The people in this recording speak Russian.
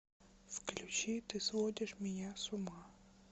включи ты сводишь меня с ума